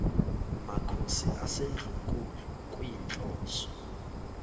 makhosi asendlunkulu kuyinhloso